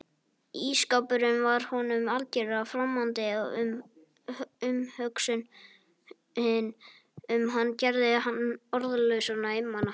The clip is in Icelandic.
Ísskápurinn var honum algjörlega framandi og umhugsunin um hann gerði hann orðlausan og einmana.